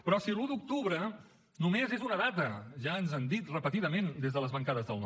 però si l’un d’octubre només és una data ja ens han dit repetidament des de les bancades del no